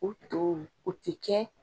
O to o ti kɛ